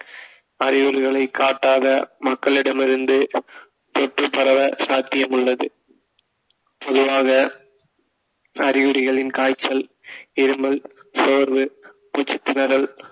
அறிகுறிகளை காட்டாத மக்களிடமிருந்து தொற்று பரவ சாத்தியம் உள்ளது பொதுவாக அறிகுறிகளின் காய்ச்சல் இருமல் சோர்வு மூச்சுத்திணறல்